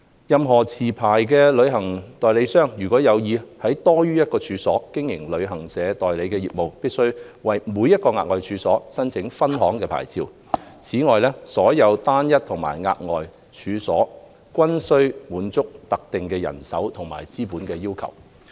任何持牌旅行代理商，如有意在多於一個處所經營旅行代理商業務，必須為每個額外處所申請分行牌照。此外，所有單一和額外處所均須滿足特定人手和資本要求。